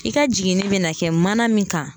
I ka jiginni be na kɛ mana min kan